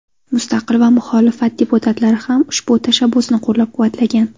Mustaqil va muxolifat deputatlari ham ushbu tashabbusni qo‘llab-quvvatlagan.